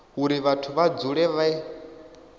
uri vhathu vha dzule vhe